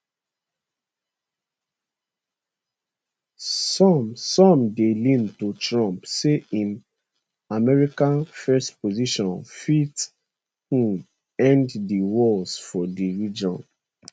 some some dey lean to trump say im america first position fit um end di wars for di region